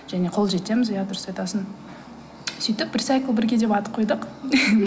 және қол жеткіземіз иә дұрыс айтасың сөйтіп рисайклбірге деп ат қойдық